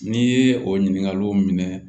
N'i ye o ɲininkaliw minɛ